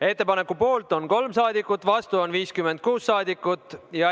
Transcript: Ettepaneku poolt on 3 ja vastu on 56 rahvasaadikut.